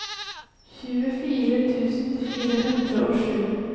tjuefire tusen fire hundre og sju